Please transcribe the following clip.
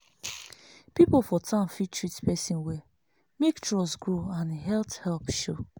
people for town fit treat person well make trust grow and health help show.